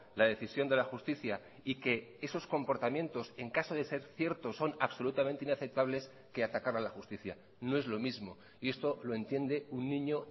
la decisión de la justicia y que esos comportamientos en caso de ser ciertos son absolutamente inaceptables que atacar a la justicia no es lo mismo y esto lo entiende un niño